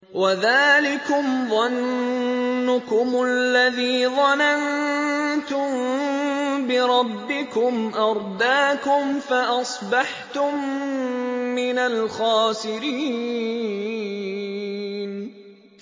وَذَٰلِكُمْ ظَنُّكُمُ الَّذِي ظَنَنتُم بِرَبِّكُمْ أَرْدَاكُمْ فَأَصْبَحْتُم مِّنَ الْخَاسِرِينَ